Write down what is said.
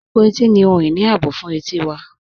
Ẹ̀pọ̀ ètì ni ohun-iní ààbọ̀ fún ètí wà.